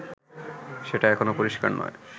সেটা এখনও পরিস্কার নয়